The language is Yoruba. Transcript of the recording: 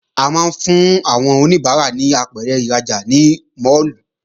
A máa ń fún àwọn oníbàárà ní apẹ̀rẹ̀ ìrajà ní máàlù